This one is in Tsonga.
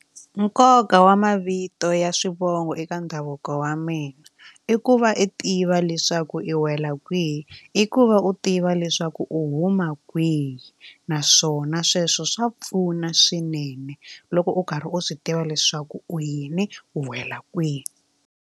Nkoka wa mavito ya swivongo eka ndhavuko wa mina i ku va u tiva leswaku i wela kwihi i ku va u tiva leswaku u huma kwihi naswona sweswo swa pfuna swinene loko u karhi u swi tiva leswaku u yini u wela kwihi.